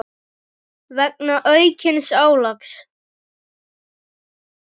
vegna aukins álags.